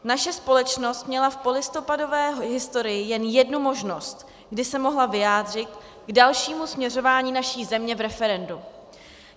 Naše společnost měla v polistopadové historii jen jednu možnost, kdy se mohla vyjádřit k dalšímu směřování naší země v referendu.